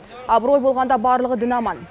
абырой болғанда барлығы дін аман